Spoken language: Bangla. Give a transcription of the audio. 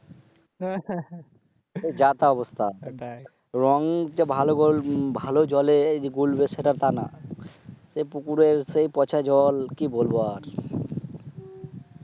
যাতা অবস্থা। রং যে ভালো জলে গুলবে সেটা না। সেই পুকুরের সেই পচা জল কি বলব আর?